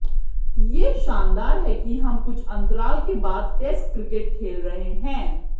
ये शानदार है कि हम कुछ अंतराल के बाद टेस्ट क्रिकेट खेल रहे हैं